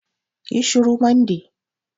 Ƴi shuru Monday!